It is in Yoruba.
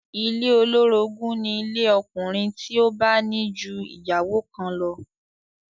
Ilé olórogún ni ilé ọkùnrin tí ó bá ní ju ìyàwó kan lọ